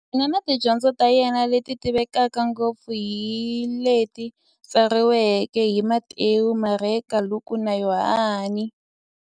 Yena na tidyondzo ta yena, leti tivekaka ngopfu hi leti tsariweke hi Matewu, Mareka, Luka, na Yohani.